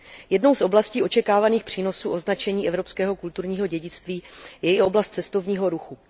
Jednou z oblastí očekávaných přínosů označení evropského kulturní dědictví je i oblast cestovního ruchu.